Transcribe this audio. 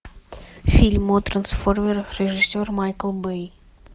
фильм о трансформерах режиссер майкл бэй